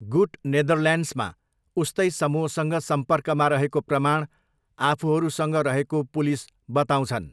गुट नेदरल्यान्ड्समा उस्तै समूहसँग सम्पर्कमा रहेको प्रमाण आफूहरूसँग रहेको पुलिस बताउँछन्।